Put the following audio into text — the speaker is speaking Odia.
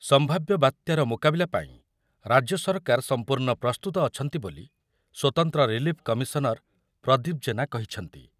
ସମ୍ଭାବ୍ୟ ବାତ୍ୟାର ମୁକାବିଲା ପାଇଁ ରାଜ୍ୟ ସରକାର ସମ୍ପୂର୍ଣ୍ଣ ପ୍ରସ୍ତୁତ ଅଛନ୍ତି ବୋଲି ସ୍ୱତନ୍ତ୍ର ରିଲିଫ କମିସନର ପ୍ରଦୀପ ଜେନା କହିଛନ୍ତି ।